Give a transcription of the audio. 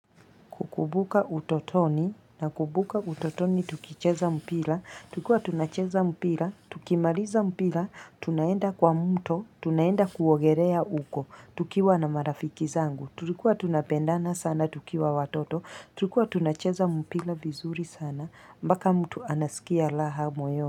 Kukubuka utotoni, na kukubuka utotoni, tukicheza mpila, tukua tunacheza mpila, tukimaliza mpila, tunaenda kwa mto, tunaenda kuogerea uko, tukiwa na marafiki zangu, tulikuwa tunapendana sana, tukiwa watoto, tukua tunacheza mpila vizuri sana, baka mtu anasikia laha moyo.